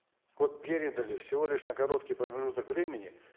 вот передали всего лишь на короткий промежуток времени